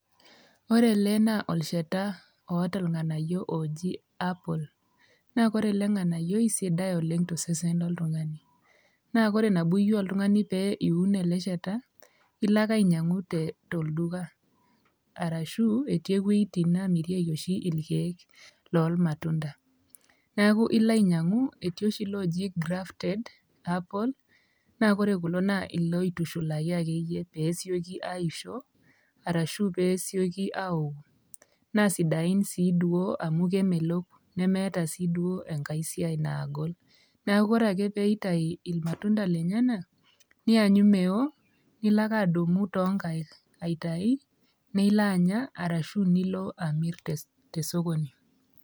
Ore ele naa olchata oata irng'anayio ooji apple naa ore ele ng'anayioi sidai oleng' to sesen oltung'ani, naa kore nabo iyeu oltung'ani pee iun ele shata naa ilo ake ainyang'u te tolduka arashu eti ewoi oshi namirieki oshi irkeek lor matunda. Neeku ilo ainyang'u eti oshi laaji grafted apple naa kore kulo naa iloitushulaki akeyie pee esioki aisho arashu pee esioki aoku naa sidain sii duo amu kemelok nemeeta sii duo enkae siai naagol. Neeku ore ake peeitayu irmatunda lenyenak, ninyanyu meo nilo ake adung'u too nkaek, aitayu nilo anya ashu nilo amir te esokoni.